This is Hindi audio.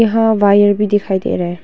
यहाँ वायर भी दिखाई दे रहा है।